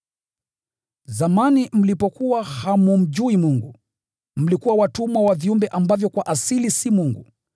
Zamani, mlipokuwa hammjui Mungu, mlikuwa watumwa wa viumbe ambavyo kwa asili si Mungu.